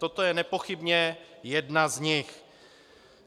Toto je nepochybně jedna z nich.